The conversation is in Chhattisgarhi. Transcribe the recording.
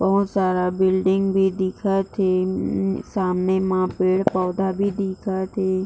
बहुत सारा बिल्डिंग भी दिखत हे सामने म पेड़-पौधा भी दिखत हे।